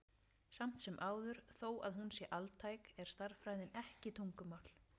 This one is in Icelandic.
Samt sem áður, þó að hún sé altæk, er stærðfræðin ekki tungumál.